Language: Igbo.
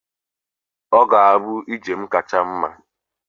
Ọ ga-abụ njem kacha mma.